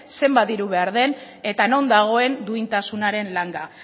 zenbat diru behar den eta non dagoen duintasunaren langa